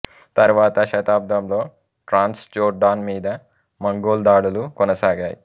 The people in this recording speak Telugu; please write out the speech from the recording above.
తరువాత శతాబ్దంలో ట్రాంస్ జోర్డాన్ మీద మంగోల్ దాడులు కొనసాగాయి